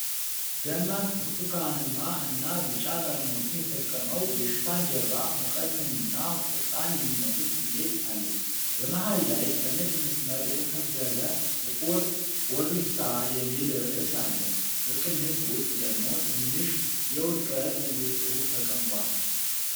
ደማቅ ብርቱካንማ እና ቢጫ ቀለሞችን የተጠቀመው የሽፋን ጀርባ ሙቀትንና ቁጣን የሚመስል ስሜት አለው። በመሃል ላይ በነጭ መስመር የተከበበ ጥቁር "ወሪሳ" የሚል ርዕስ አለ። በቅንፍ ውስጥ ደግሞ ትንሽ "የውድቀት " የሚል ጽሑፍ ተቀምጧል።